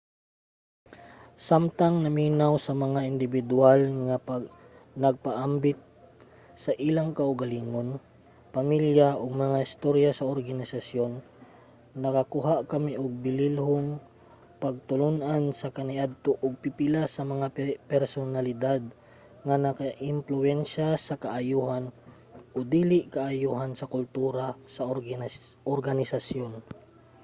samtang naminaw sa mga indibidwal nga nagpaambit sa ilang kaugalingon pamilya ug mga istorya sa organisasyon nakakuha kami og bililhong pagtulun-an sa kaniadto ug pipila sa mga personalidad nga nakaimpluwensya sa kaayohan o dili kaayohan sa kultura sa organisasyon